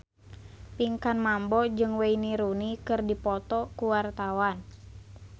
Pinkan Mambo jeung Wayne Rooney keur dipoto ku wartawan